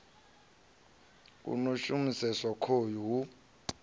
a no shumiseswa khoyu hu